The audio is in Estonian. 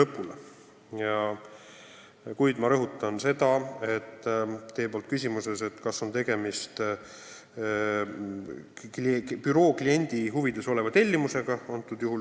Te küsisite, kas selle kriminaalmenetluse algatamisel on tegemist büroo kliendi huvides oleva tellimusega.